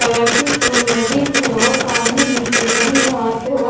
colour के फूल लगे है और सामने नीचे हरी घास है और --